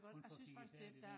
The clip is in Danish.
Hun for kigget færdig dér